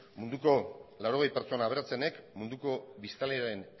munduko laurogei pertsona aberatsenek munduko biztanleen